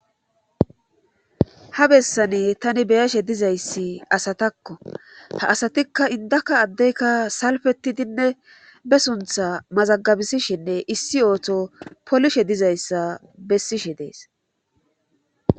Ha bessane tani beyashe dizayssi asatakko ha asatikka indaka addeykka salfetidinne be suntha mazagabisishinne issi ooto polishe dizayssa bessishe dees.